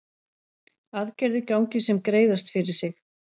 Aðgerðir gangi sem greiðast fyrir sig